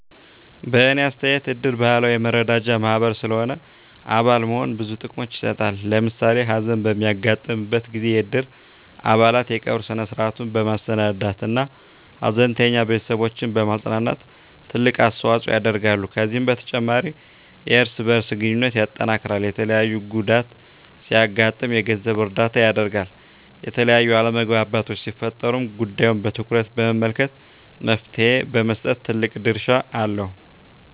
በእኔ አስተያየት እድር ባህላዊ የመረዳጃ ማህበር ስለሆነ አባል መሆን ብዙ ጥቅሞችን ይሰጣል። ለምሳሌ ሀዘን በሚያጋጥምበት ጊዜ የእድር አባላት የቀብር ስነ-ስርዐቱን በማሰናዳት እና ሀዘንተኛ ቤተስቦችን በማፅናናት ትልቅ አስተዋጽኦ ያደርጋሉ። ከዚህም በተጨማሪ የእርስ በእርስ ግንኙነትን ያጠናክራል፣ የተለያየ ጉዳት ሲያጋጥም የገንዘብ እርዳታ ያደርጋል፣ የተለያዩ አለመግባባቶች ሲፈጠሩም ጉዳዩን በትኩረት በመመልከት መፍትሔ በመስጠት ትልቅ ድርሻ አለው።